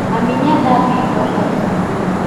Mami nĩathambia indo tha ici tu